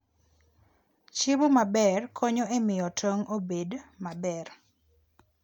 Chiemo maber konyo e miyo tong' obed maber.